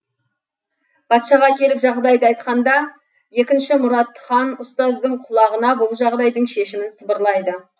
патшаға келіп жағдайды айтқанда екінші мұрат хан ұстаздың құлағына бұл жағдайдың шешімін сыбырлайды